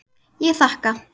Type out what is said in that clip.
Ég þakka.